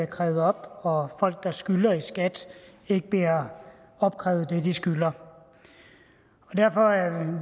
krævet op og folk der skylder i skat ikke bliver opkrævet det de skylder derfor er